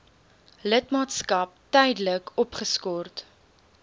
lidmaatskap tydelik opgeskort